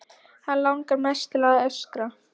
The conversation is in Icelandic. Hann langar mest til að öskra.